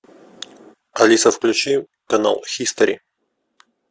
алиса включи канал хистори